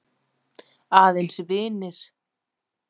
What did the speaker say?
Aðeins vinir.